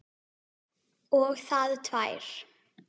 Og það tvær.